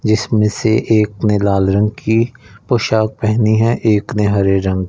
जिसमें से एक ने लाल रंग की पोशाक पेहनी है एक ने हरे रंग--